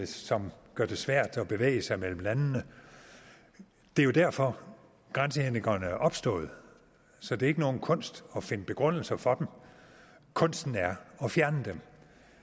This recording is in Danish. som gør det svært at bevæge sig mellem landene det er derfor at grænsehindringerne er opstået så det er ikke nogen kunst at finde begrundelser for dem kunsten er at fjerne dem